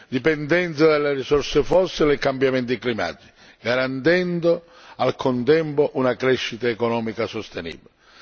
dipendenza dalle risorse fossili e cambiamenti climatici, garantendo nel contempo una crescita economica sostenibile.